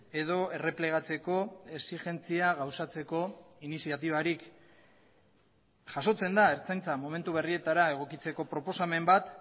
edo erreplegatzeko exigentzia gauzatzeko iniziatibarik jasotzen da ertzaintza momentu berrietara egokitzeko proposamen bat